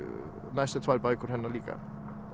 næstu tvær bækur hennar líka